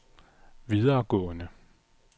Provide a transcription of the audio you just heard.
videregående